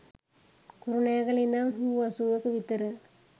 කුරුණෑගල ඉදන් හූ අසූවක විතර